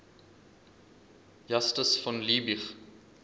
justus von liebig